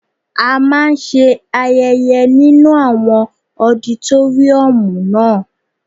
A máa ń ṣe ayẹyẹ nínu àwọn ọditóríọ̀mù naa